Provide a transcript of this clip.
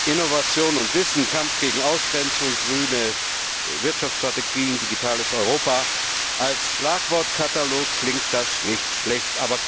Innovation und Wissen, Kampf gegen Ausgrenzung, grüne Wirtschaftsstrategien, digitales Europa als Schlagwortkatalog klingt das nicht schlecht.